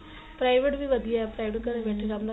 private ਵੀ ਵਧੀਆ private